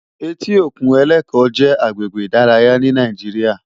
Éti ókún Eleko jè àgbégbé idàráyá ni Nàijiriá